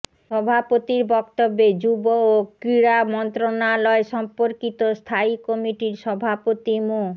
সভাপতির বক্তব্যে যুব ও ক্রীড়া মন্ত্রনালয় সম্পর্কিত স্থায়ী কমিটির সভাপতি মো